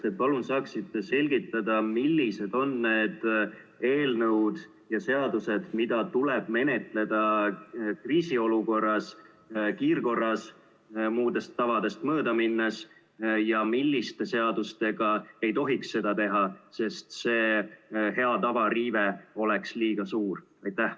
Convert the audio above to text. Kas te palun saaksite selgitada, millised on need eelnõud ja seadused, mida tuleb menetleda kriisiolukorras kiirkorras, headest tavadest mööda minnes, ja milliste seadustega ei tohiks seda teha, sest hea tava riive oleks liiga suur?